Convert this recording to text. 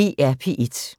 DR P1